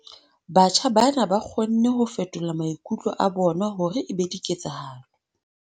Batjha bana ba kgonne ho fetola maikutlo a bona hore e be diketsahalo.